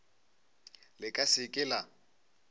le ka se ke la